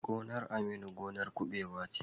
Gonar Aminu gonar kuɓewa ce.